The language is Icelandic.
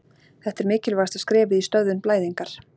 Þetta er mikilvægasta skrefið í stöðvun blæðingar.